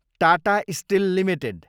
Tata steel Ltd